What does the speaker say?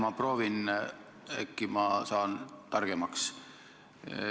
Ma proovin, äkki ma saan targemaks.